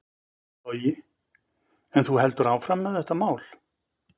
Logi: En þú heldur áfram með þetta mál?